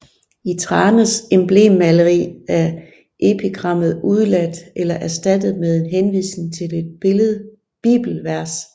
I Thranes emblemmaleri er epigrammet udeladt eller erstattet med en henvisning til et bibelvers